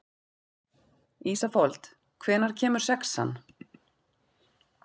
Ísafold, hvenær kemur sexan?